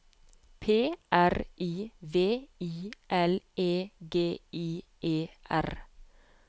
P R I V I L E G I E R